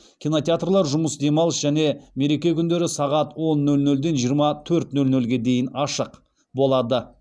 кинотеатрлар жұмыс демалыс және мереке күндері сағат он нөл нөлден жиырма төрт нөл нөлге дейін ашық